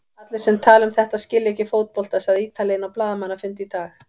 Allir sem tala um þetta skilja ekki fótbolta, sagði Ítalinn á blaðamannafundi í dag.